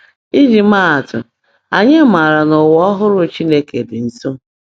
Iji maa atụ, anyị maara na ụwa ọhụrụ Chineke dị nso.